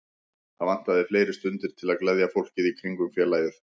Það vantaði fleiri stundir til að gleðja fólkið í kringum félagið.